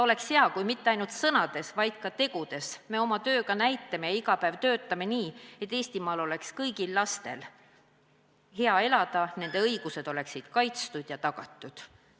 Oleks hea, kui me mitte ainult sõnades, vaid ka tegudes iga päev töötaksime nii, et Eestimaal oleks kõigil lastel hea elada, nende õigused oleksid kaitstud ja tagatud.